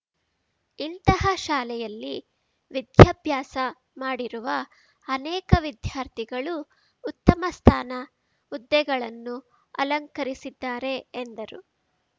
ಇಂತಹ ಶಾಲೆಯಲ್ಲಿ ವಿದ್ಯಾಭ್ಯಾಸ ಮಾಡಿರುವ ಅನೇಕ ವಿದ್ಯಾರ್ಥಿಗಳು ಉತ್ತಮ ಸ್ಥಾನ ಹುದ್ದೆಗಳನ್ನು ಅಲಂಕರಿಸಿದ್ದಾರೆ ಎಂದರು